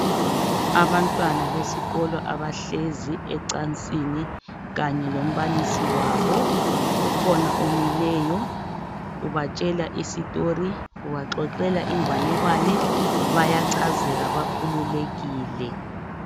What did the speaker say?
Abantwana besikolo abahlezi ecansini Kanye lombalisi wabo ukhona omileyo ubatshela udaba olothile ubaxoxela inganekwane bayachazeka bakhululekile